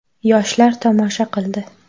Yoshlar tomosha qildi.